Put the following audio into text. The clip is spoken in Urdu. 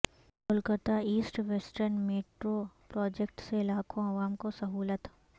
Kolkata east western metro project سے لاکھوں عوام کو سہولت